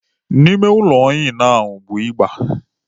Ime ụlọ Ịnụ ahụ bụ ịgba.